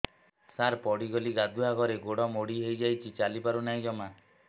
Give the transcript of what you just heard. ସାର ପଡ଼ିଗଲି ଗାଧୁଆଘରେ ଗୋଡ ମୋଡି ହେଇଯାଇଛି ଚାଲିପାରୁ ନାହିଁ ଜମା